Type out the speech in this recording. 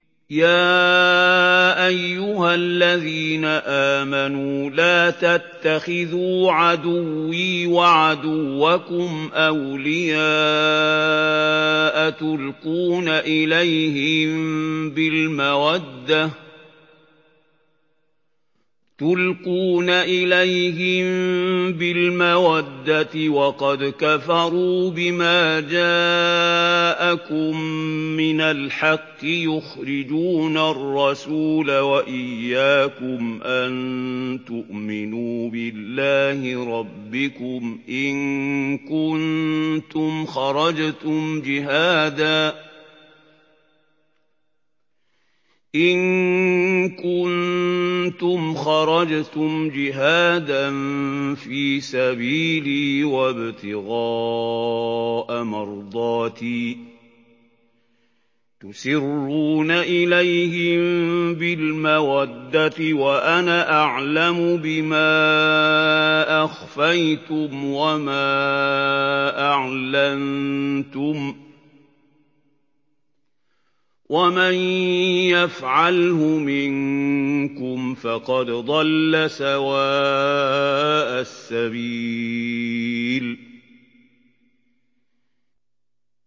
يَا أَيُّهَا الَّذِينَ آمَنُوا لَا تَتَّخِذُوا عَدُوِّي وَعَدُوَّكُمْ أَوْلِيَاءَ تُلْقُونَ إِلَيْهِم بِالْمَوَدَّةِ وَقَدْ كَفَرُوا بِمَا جَاءَكُم مِّنَ الْحَقِّ يُخْرِجُونَ الرَّسُولَ وَإِيَّاكُمْ ۙ أَن تُؤْمِنُوا بِاللَّهِ رَبِّكُمْ إِن كُنتُمْ خَرَجْتُمْ جِهَادًا فِي سَبِيلِي وَابْتِغَاءَ مَرْضَاتِي ۚ تُسِرُّونَ إِلَيْهِم بِالْمَوَدَّةِ وَأَنَا أَعْلَمُ بِمَا أَخْفَيْتُمْ وَمَا أَعْلَنتُمْ ۚ وَمَن يَفْعَلْهُ مِنكُمْ فَقَدْ ضَلَّ سَوَاءَ السَّبِيلِ